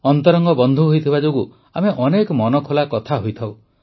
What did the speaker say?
ଅନ୍ତରଙ୍ଗ ବନ୍ଧୁ ହୋଇଥିବା ଯୋଗୁଁ ଆମେ ଅନେକ ମନଖୋଲା କଥା ହୋଇଥାଉ